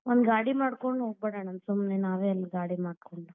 ಒಂದ್ ಗಾಡಿ ಮಾಡ್ಕೊಂಡ್ ಹೋಗಿಬಿಡೋಣ, ಸುಮ್ನೆ ನಾವೇ ಅಲ್ಲಿ ಗಾಡಿ ಮಾಡ್ಕೊಂಡ್.